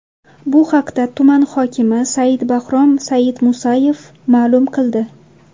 Bu haqda tuman hokimi Sayidbahrom Sayidmusayev ma’lum qildi .